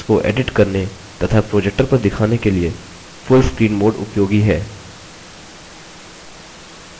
documents को edit करने तथा projector पर दिखाने के लिए full screen mode उपयोगी है